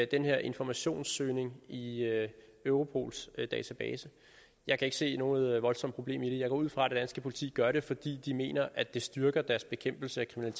den her informationssøgning i europols database jeg kan ikke se noget voldsomt problem i det jeg går ud fra at det danske politi gør det fordi de mener at det styrker deres bekæmpelse af